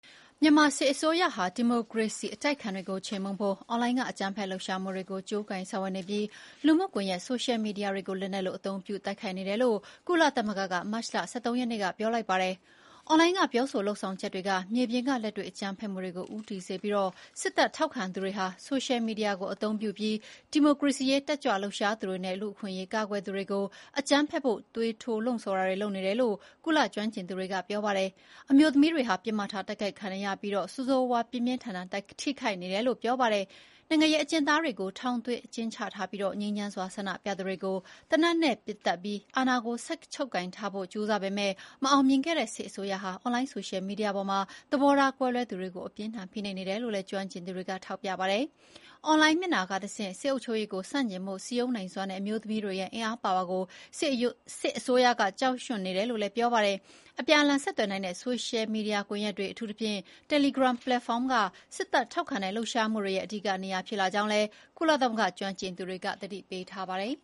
မြန်မာစစ်အစိုးရဟာ ဒီမိုကရေစီအတိုက်အခံတွေကို ချေမှုန်းဖို့ အွန်လိုင်းက အကြမ်းဖက်လှုပ်ရှားမှုတွေကို ကြိုးကိုင်ဆောင်ရွက်နေပြီး လူမှုကွန်ရက် ဆိုရှယ်မီဒီယာတွေကို လက်နက်သဖွယ်သုံးပြီးတိုက်ခိုက်နေတယ်လို့ ကုလသမဂ္ဂက မတ်လ ၁၃ ရက်နေ့က ပြောလိုက်ပါတယ်။ “အွန်လိုင်းက ပြောဆိုလုပ်ဆောင်ချက်တွေက မြေပြင်က လက်တွေ့အကြမ်းဖက်မှုတွေကို ဦးတည်စေပြီး စစ်တပ်ထောက်ခံသူတွေဟာ ဆိုရှယ်မီဒီယာကို အသုံးပြုပြီး ဒီမိုကရေစီရေး တက်ကြွလှုပ်ရှားသူတွေနဲ့ လူ့အခွင့်အရေးကာကွယ်သူတွေကို အကြမ်းဖက်ဖို့ သွေးထိုးလှုံ့ဆော်နေတယ်လို့ ကုလက ကျွမ်းကျင်သူတွေက ဆိုပါတယ်။ “အမျိုးသမီးတွေဟာ ပစ်မှတ်ထားတိုက်ခိုက်ခံနေရပြီး ဆိုးဆိုးရွားရွား ပြင်းပြင်းထန်ထန် ထိခိုက်နေတယ်” လို့ ပြောပါတယ်။ နိုင်ငံရေးအကျဉ်းသားတွေကို ထောင်သွင်းအကျဉ်းချထားသလို ငြိမ်းချမ်းစွာ ဆန္ဒပြသူတွေကို သေနတ်နဲ့ပစ်သတ်ပြီး အာဏာကိုဆက်ချုပ်ကိုင်ထားဖို့ကြိုးစားပေမယ့် မအောင်မြင်ခဲ့တဲ့စစ်အစိုးရဟာ အွန်လိုင်း ဆိုရှယ်မီဒီယာပေါ်မှာ သဘောထားကွဲလွဲသူတွေကို အပြင်းအထန်ဖိနှိပ်နေတယ်လို့ ကျွမ်းကျင်သူတွေက ထောက်ပြတာပါ။ အွန်လိုင်းမျက်နှာစာကတဆင့် စစ်အုပ်ချုပ်ရေးကို ဆန့်ကျင်ဖို့ စည်းရုံးနိုင်စွမ်းတဲ့အမျိုးသမီးတွေရဲ့အင်အားပါဝါကို စစ်အစိုးရက ကြောက်ရွံ့နေတယ်လို့ ဆိုပါတယ်။ အပြန်အလှန် ဆက်သွယ်နိုင်တဲ့ ဆိုရှယ်မီဒီယာကွန်ရက်တွေ အထူးသဖြင့် Telegram ပလက်ဖောင်းက စစ်တပ်ထောက်ခံတဲ့လှုပ်ရှားမှုတွေရဲ့ အဓိကနေရာဖြစ်လာကြောင်းလည်း ကုလသမဂ္ဂကျွမ်းကျင်သူတွေက သတိပေးထားပါတယ်